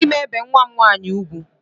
Agaghị m ebe nwa m nwaanyị ugwu